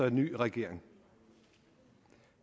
en ny regering